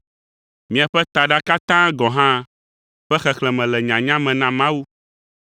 Miaƒe taɖa katã gɔ̃ hã ƒe xexlẽme le nyanya me na Mawu,